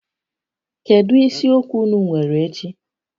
Kedu isiokwu ụnụ nwere echi?